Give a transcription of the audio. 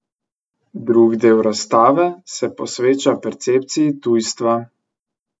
Drug del razstave se posveča percepciji tujstva.